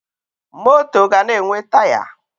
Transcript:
Moto ga na-enwe Taya